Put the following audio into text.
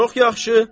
Çox yaxşı.